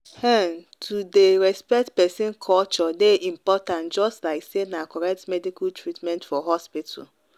ehn to dey respect person culture dey important just like say na correct medical treatment for hospital.